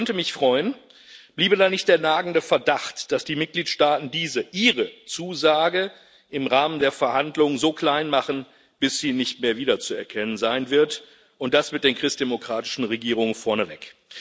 Das könnte mich freuen, bliebe da nicht der nagende Verdacht, dass die Mitgliedstaaten diese Ihre Zusage im Rahmen der Verhandlungen so klein machen, bis sie nicht mehr wiederzuerkennen sein wird, und das mit den christdemokratischen Regierungen vorneweg.